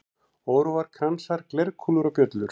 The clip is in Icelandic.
Óróar, kransar, glerkúlur og bjöllur.